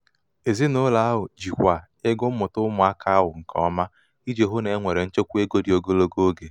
ezinụlọ ahụ jikwaa ego mmụta ụmụaka nke ọma iji hụ na e nwere nchekwa ego dị ogologo oge.